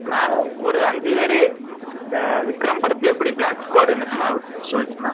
நான் ஒரு அஞ்சு பேரு இந்த விக்ரம் படத்துல எப்படி black squared னு சொல்லிட்டு இருந்தாங்க